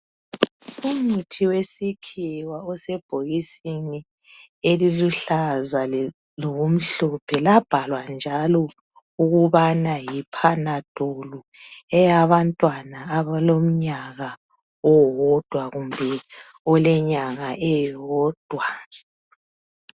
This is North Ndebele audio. Umuthi wesikhiwa osebhokisini eliluhlaza lokumhlophe labhalwa njalo ukubana yiphanadolu eyabantwana abalomnyaka owodwa kumbe olenyanga eyodwa-.